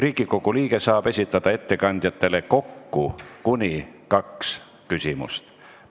Riigikogu liige saab esitada ettekandjatele kokku kuni kaks küsimust.